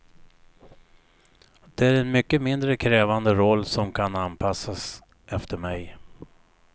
Det är en mycket mindre krävande roll, som kan anpassas efter mig.